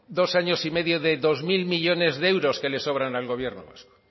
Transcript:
dos años y medio de dos mil millónes de euros que le sobran al gobierno vasco